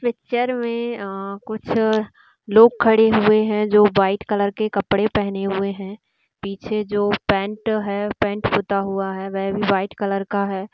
Picture में अ अ कुछ लोग खड़े हुए है जो व्हाइट कलर के कपड़े पहनें हुए है पीछे जो पैंट है पैंट पुता हुआ है वे भी व्हाइट कलर का है।